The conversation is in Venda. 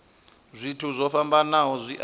zwithu zwo fhambanaho zwi a